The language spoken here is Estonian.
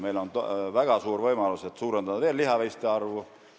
Meil on väga suur võimalus suurendada lihaveiste arvu.